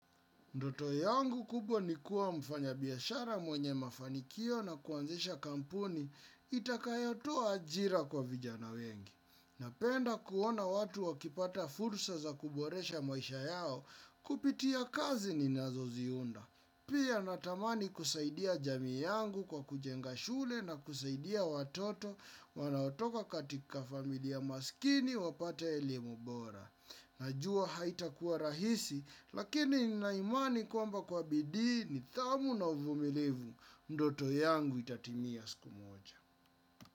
Ndoto yangu kubwa ni kuwa mfanyabiashara mwenye mafanikio na kuanzisha kampuni itakayotoa ajira kwa vijana wengi. Napenda kuona watu wakipata fursa za kuboresha maisha yao kupitia kazi ninazoziunda. Pia natamani kusaidia jamii yangu kwa kujenga shule na kusaidia watoto wanaotoka katika familia maskini wapata elimu bora. Najua haitakuwa rahisi lakini nina imani kwamba kwa bidii nidhamu na uvumilivu ndoto yangu itatimia siku moja.